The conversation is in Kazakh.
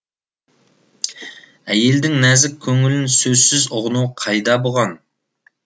әйелдің нәзік көңілін сөзсіз ұғыну қайда бұған